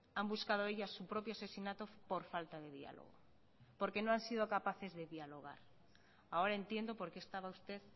han buscado ellas su propio asesinato por falta de diálogo porque no han sido capaces de dialogar ahora entiendo por qué estaba usted